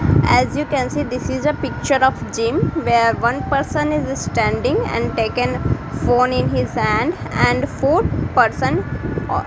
as you can see this is a picture of gym where one person is standing and taken phone in his hand and fourth person au --